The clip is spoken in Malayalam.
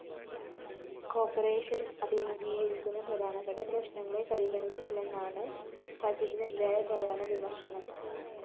കോർപ്പറേഷൻ അഭിമുഖീകരിക്കുന്ന പ്രധാനപ്പെട്ട പ്രശ്‌നങ്ങളെ പരിഗണിച്ചില്ലെന്നതാണ് ബജറ്റിനെതിരായ പ്രധാന വിമര്‍ശനം